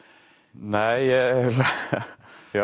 nei ég